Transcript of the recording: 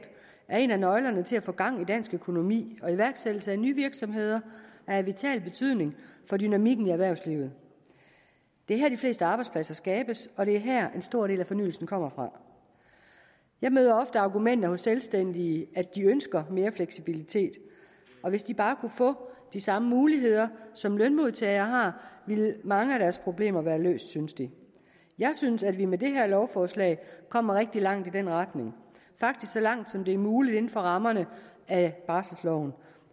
er en af nøglerne til at få gang i dansk økonomi og iværksættelse af nye virksomheder er af vital betydning for dynamikken i erhvervslivet det er her de fleste arbejdspladser skabes og det er her en stor del af fornyelsen kommer fra jeg møder ofte argumenter hos selvstændige at de ønsker mere fleksibilitet og hvis de bare kunne få de samme muligheder som lønmodtagere har ville mange af deres problemer være løst synes de jeg synes at vi med det her lovforslag kommer rigtig langt i den retning faktisk så langt som det er muligt inden for rammerne af barselsloven